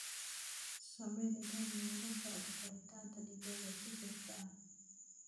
Samee nidaam lagula socdo koritaanka digaagga si joogto ah.